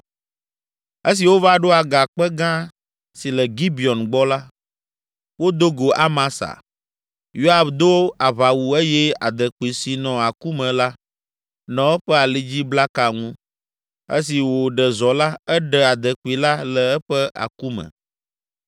Esi wova ɖo agakpe gã si le Gibeon gbɔ la, wodo go Amasa. Yoab do aʋawu eye adekpui si nɔ aku me la, nɔ eƒe alidziblaka ŋu. Esi wòɖe zɔ la, eɖe adekpui la le eƒe aku me.